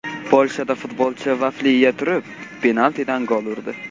Polshada futbolchi vafli yeya turib penaltidan gol urdi .